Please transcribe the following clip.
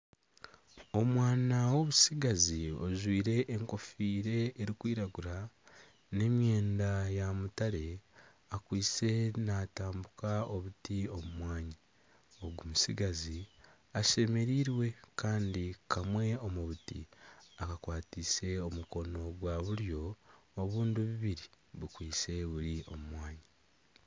Omwana w'obustigazi ojwaire enkofiira erikwiragura, n'emyenda ya mutare akwaitse naatambika obuti omu mwanya. Ogu mutsigazi ashemereirwe kandi kamwe omu buti akakwateise omukono gwa buryo. Obundi bubiri bukwaitse buri omu mwanya.